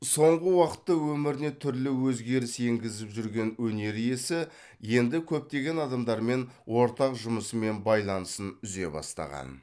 соңғы уақытта өміріне түрлі өзгеріс енгізіп жүрген өнер иесі енді көптеген адамдармен ортақ жұмысы мен байланысын үзе бастаған